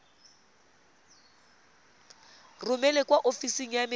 romele kwa ofising ya merero